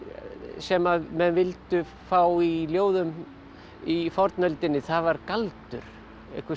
sem menn vildu fá í ljóðum í fornöldinni það var galdur einhvers